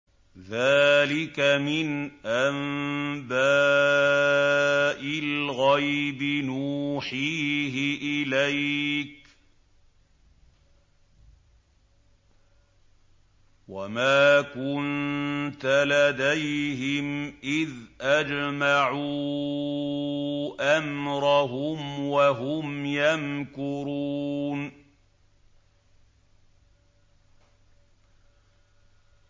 ذَٰلِكَ مِنْ أَنبَاءِ الْغَيْبِ نُوحِيهِ إِلَيْكَ ۖ وَمَا كُنتَ لَدَيْهِمْ إِذْ أَجْمَعُوا أَمْرَهُمْ وَهُمْ يَمْكُرُونَ